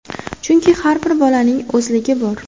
Chunki har bir bolaning o‘zligi bor.